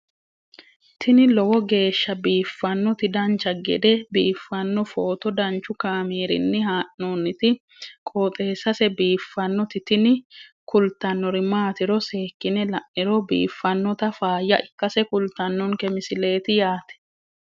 tini lowo geeshsha biiffannoti dancha gede biiffanno footo danchu kaameerinni haa'noonniti qooxeessa biiffannoti tini kultannori maatiro seekkine la'niro biiffannota faayya ikkase kultannoke misileeti yaate